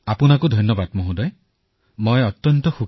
মোদী মহোদয় আমি ভিডিঅ আদি প্ৰস্তুত কৰি চেনেলত বিনিময় কৰিছো